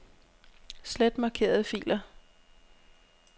Slet markerede filer.